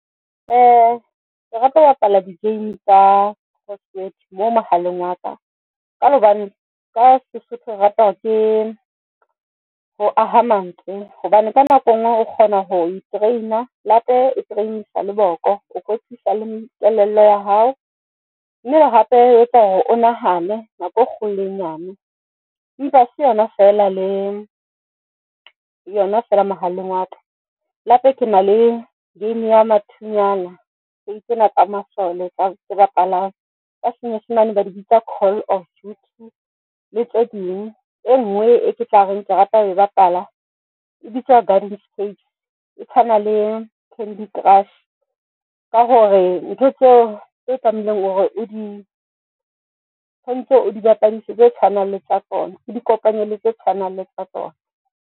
Ke rata ho bapala di-game tsa crossword mo mohaleng wa ka, ka hobane ka Sesotho re rata hore ke ho aha mantswe hobane ka nako e ngwe re kgona ho i-train-a hape e train-sa le boko, o ka thusa le kelello ya hao mme hape etsa hore o nahane nako e kgolo le e nyane empa hase yona fela mohaleng wa ka. Le hape kena le game ya mathunyana game tsena tsa masole tse bapalang ka senyesemane ba di bitsa Call of Duty le tse ding. E ngwe e ke tla reng ke rata ho e bapala e bitswa Gardenscapes e tshwana le Candy Crush ka hore ntho tseo tse tlamehileng hore o di tshwantse, o di bapadise tse tshwanang le tsa tsona, o di kopanye le tse tshwanang le tsa tsona.